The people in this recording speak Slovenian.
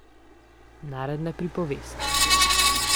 Narodna pripovest.